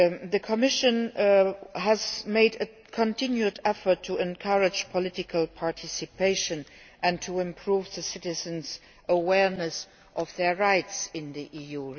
The Commission has made a continued effort to encourage political participation and to improve citizens' awareness of their rights in the EU.